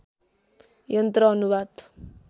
यन्त्र अनुवाद